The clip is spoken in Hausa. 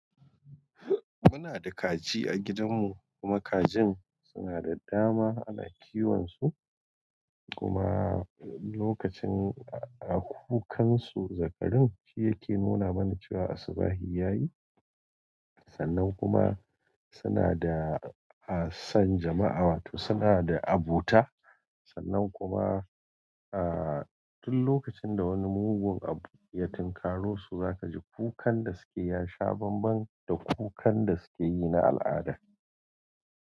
Muna da kaji a gidan mu kuma kajin suna da dama ana kiwon su kuma lokacin a kukansu zakarin shi yake nuna mana cewa asubahi yayi. Sannan kuma suna da hasan jama'a wato suna da abuta sannan kuma aa tun lokacin da wani mugun abokiyatin karosu zaka ji kukan da suke yasha banban da kukan da sukeyi na al'ada.